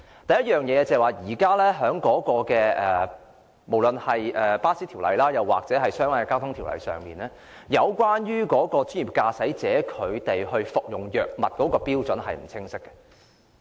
第一，無論是在有關巴士服務的條例或相關的交通條例下，有關專業駕駛者服用藥物的標準並不清晰。